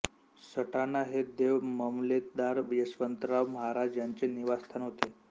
सटाणा हे देव मामलेदार यशवंतराव महाराज यांचे निवास्थान होते